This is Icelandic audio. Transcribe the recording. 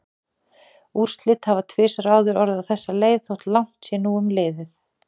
Úrslit hafa tvisvar áður orðið á þessa leið þótt langt sé nú um liðið.